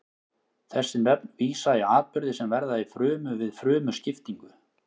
þessi nöfn vísa í atburði sem verða í frumu við frumuskiptingu